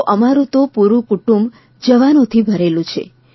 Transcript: તો અમારૂં તો પૂરૂં કુટુંબ જવાનોથી ભરેલું છે